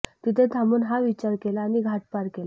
तिथे थांबू हा विचार केला आणि घाट पार केला